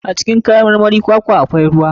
A cikin kayan marmarin kwakwa akwai ruwa.